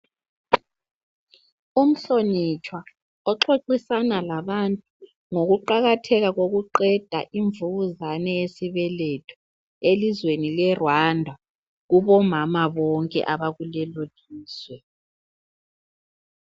Umhlonitshwa oxoxisana labantu ngokuqakatheka kokuqeda imvukuzane yesibeletho elizweni le Rwanda kubomama bonke abakulelo lizwe